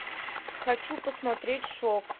хочу посмотреть шок